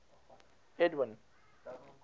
edwin